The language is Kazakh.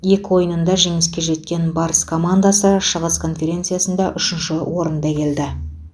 екі ойынында жеңіске жеткен барыс командасы шығыс конференциясында үшінші орында келеді